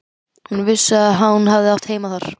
Hún vissi að hún hafði átt heima þar.